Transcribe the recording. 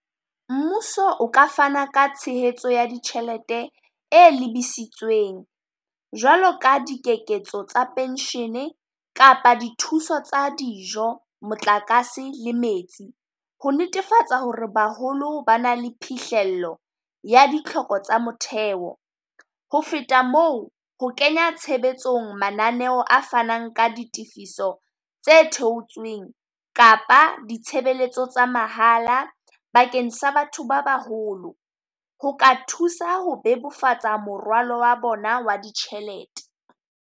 Mmuso o ka fana ka tshehetso ya ditjhelete e lebisitsweng jwalo ka diketso tsa pension-e kapa dithuso tsa dijo, motlakase le metsi. Ho netefatsa ho re baholo ba na le phihlelo ya ditlhoko tsa motheo. Ho feta moo, ho kenya tshebetsong mananeo a fanang ka ditefiso, tse theotsweng kapa ditshebeletso tsa mahala bakeng sa batho ba baholo. Ho ka thusa ho bebofatsa moralo wa bona wa ditjhelete.